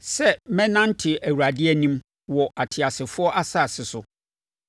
sɛ mɛnante Awurade anim wɔ ateasefoɔ asase so.